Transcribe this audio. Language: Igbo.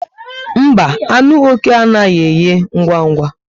Mba, anụ oké anaghị eghe ngwa ngwa